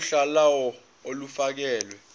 uhla lawo olufakelwe